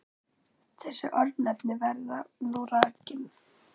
Þessi örnefni verða nú rakin